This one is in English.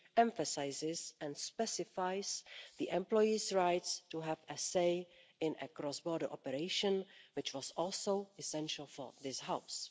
emphasises and specifies the employees' rights to have a say in a cross border operation, which was also essential for this House.